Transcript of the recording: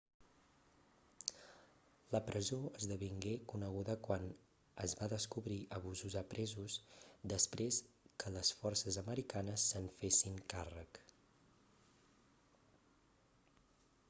la presó esdevingué coneguda quan es va descobrir abusos a presos després que les forces americanes se'n fessin càrrec